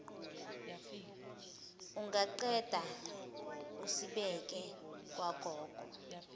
ungaqeda usibeke kwagogo